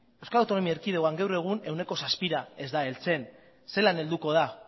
euskal autonomia erkidegoan gaur egun ehuneko zazpira ez da heltzen zelan helduko da